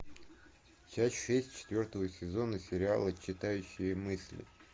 часть шесть четвертого сезона сериала читающий мысли